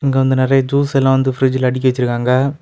இது வந்து நிறைய ஜூஸ் எல்லா வந்து பிரிட்ஜ்ல அடுக்கி வச்சிருக்காங்க.